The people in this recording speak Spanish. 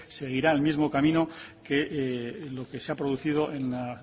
seguirá el mismo camino que lo que se ha producido en la